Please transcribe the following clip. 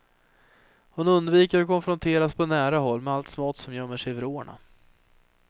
Hon undviker att konfronteras på nära håll med allt smått som gömmer sig i vrårna.